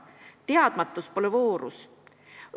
Teadmatus pole voorus.